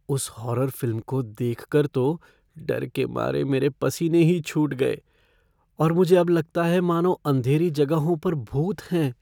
उस horror film को देख कर तो डर के मारे मेरे पसीने ही छूट गए और मुझे अब लगता है मानो अंधेरी जगहों पर भूत हैं।